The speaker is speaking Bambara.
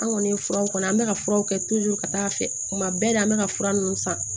An kɔni ye furaw kɔnɔ an bɛ ka furaw kɛ ka taa fɛ kuma bɛɛ la an bɛ ka fura ninnu san